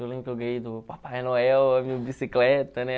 Eu lembro que eu ganhei do Papai Noel a minha bicicleta, né?